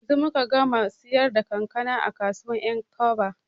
Yanzu muka gama siyar da kankana a kasuwar 'yankaba.